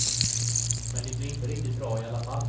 Men det blir inte riktigt bra i alla fall.